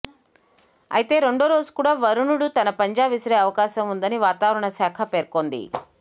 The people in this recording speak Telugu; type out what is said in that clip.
అయితే రెండో రోజు కూడా వరుణుడు తన పంజా విసిరే అవకాశం ఉందని వాతావరణ శాఖ పేర్కొంది